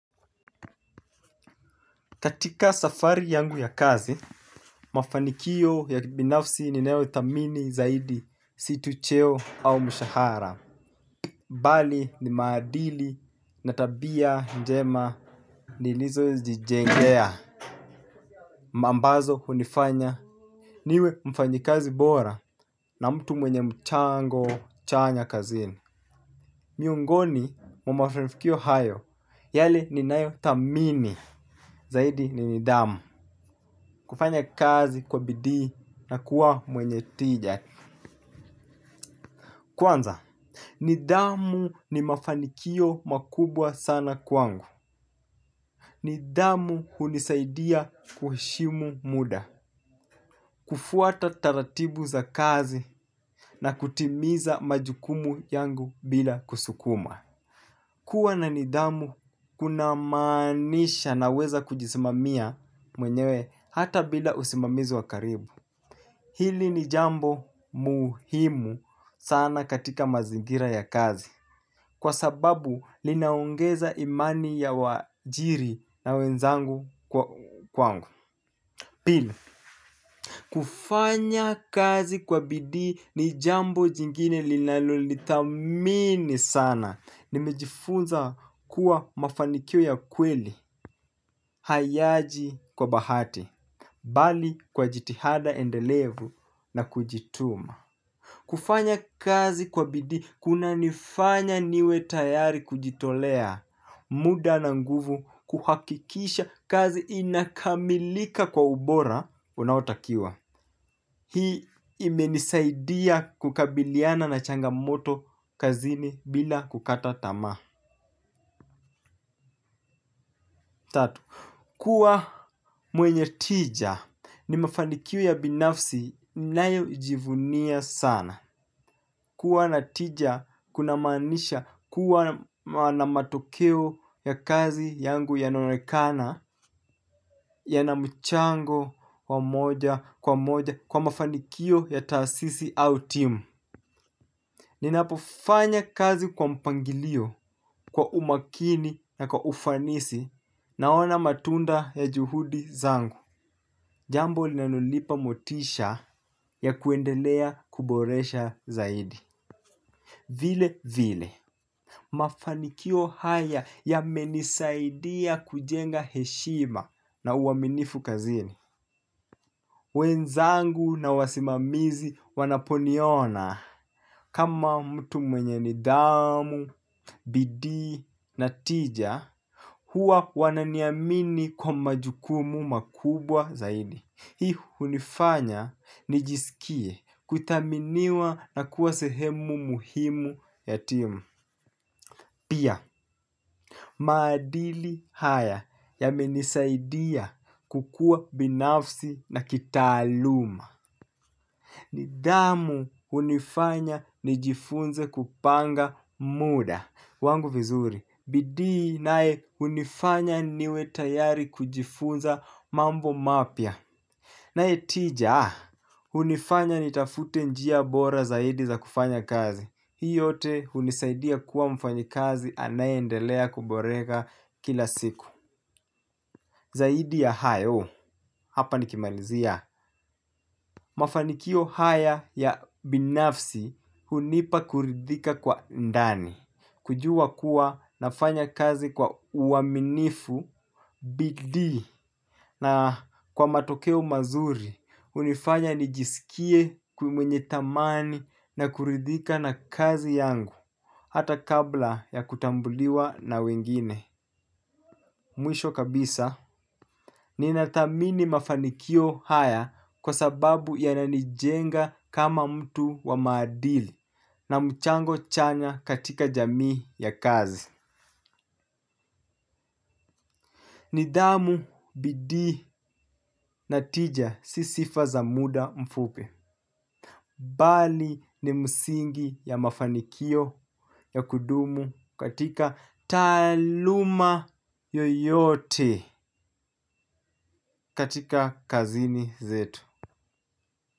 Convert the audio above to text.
Katika safari yangu ya kazi, mafanikio ya binafsi ni nayo thamini zaidi, si tu cheo au mshahara. Bali ni maadili, na tabia njema, nilizo jijengea mambazo hunifanya, niwe mfanyikazi bora na mtu mwenye mchango chanya kazini. Miungoni mwa mafanifikio hayo, yale ni nayo thamini zaidi ni nidhamu. Kufanya kazi kwa bidii na kuwa mwenye tija. Kwanza, nidhamu ni mafanikio makubwa sana kwangu. Nidhamu hunisaidia kuheshimu muda. Kufuata taratibu za kazi na kutimiza majukumu yangu bila kusukuma. Kuwa na nidhamu, kuna maanisha na weza kujisimamia mwenyewe hata bila usimamizi wa karibu. Hili ni jambo muhimu sana katika mazingira ya kazi. Kwa sababu linaongeza imani ya waajiri na wenzangu kwangu. Pili kufanya kazi kwa bidii ni jambo jingine linaloli thamini sana nimejifunza kuwa mafanikio ya kweli hayaji kwa bahati. Bali kwa jitihada endelevu na kujituma. Kufanya kazi kwa bidii kuna nifanya niwe tayari kujitolea, muda na nguvu, kuhakikisha kazi inakamilika kwa ubora, unaotakiwa. Hii ime nisaidia kukabiliana na changa moto kazini bila kukata tamaa. Tatu, kuwa mwenye tija ni mafanikio ya binafsi nayo jivunia sana. Kuwa na tija kuna maanisha kuwa na matokeo ya kazi yangu yanaonekana yana mchango wa moja kwa moja kwa mafanikio ya taasisi au team. Ninapofanya kazi kwa mpangilio, kwa umakini na kwa ufanisi naona matunda ya juhudi zangu. Jambo linalonipa motisha ya kuendelea kuboresha zaidi. Vile vile, mafanikio haya yamenisaidia kujenga heshima na uaminifu kazini. Wenzangu na wasimamizi wanaponiona. Kama mtu mwenye ni dhamu, bidii na tija, huwa wananiamini kwa majukumu makubwa zaidi. Hii hunifanya nijisikie kuthaminiwa na kuwasehemu muhimu yatimu. Pia, maadili haya ya menisaidia kukua binafsi na kitaaluma. Nidhamu hunifanya nijifunze kupanga muda wangu vizuri, bidii nae hunifanya niwe tayari kujifunza mambo mapya nae tija, hunifanya nitafute njia bora zaidi za kufanya kazi. Hii yote hunisaidia kuwa mfanyikazi anaye endelea kuborega kila siku. Zaidi ya hayo hapa nikimalizia. Mafanikio haya ya binafsi hunipa kuridhika kwa ndani. Kujua kuwa nafanya kazi kwa uaminifu bidii na kwa matokeo mazuri hunifanya nijisikie kumwenye thamani na kuridhika na kazi yangu. Hata kabla ya kutambuliwa na wengine. Mwisho kabisa. Ninathamini mafanikio haya kwa sababu yananijenga kama mtu wa maadili na mchango chanya katika jamii ya kazi. Nidhamu bidii na tija sisifa za muda mfupi. Bali ni msingi ya mafanikio ya kudumu katika taaluma yoyote. Katika kazini zetu.